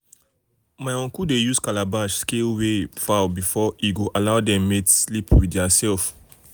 my uncle dey use calabash um scale weigh fowl before um e go allow dem mate sleep with their self.